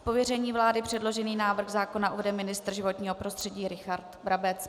Z pověření vlády předložený návrh zákona uvede ministr životního prostředí Richard Brabec.